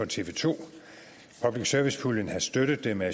tv to og public service puljen har støttet det med